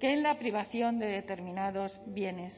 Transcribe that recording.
en la privación de determinados bienes